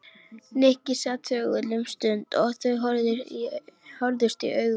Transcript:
Nikki sat þögull um stund og þau horfðust í augu.